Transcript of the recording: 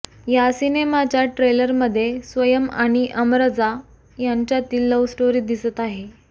या सिनेमाच्या ट्रेलरमध्ये स्वयम आणि अमरजा यांच्यातील लव्हस्टोरी दिसत आहे